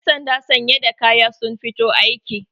yansanda sanye da kaya sun fito aiki